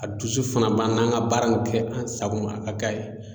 A dusu fana b'an na an ŋa baara nin kɛ an sagoma a ka k'a ye.